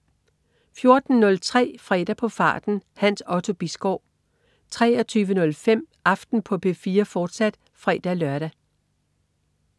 14.03 Fredag på farten. Hans Otto Bisgaard 23.05 Aften på P4, fortsat (fre-lør)